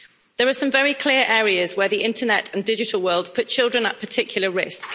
There are some very clear areas where the Internet and digital world put children at particular risk